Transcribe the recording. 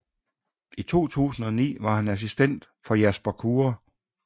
I 2009 var han assistent for Jasper Kure